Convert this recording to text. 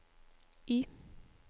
Y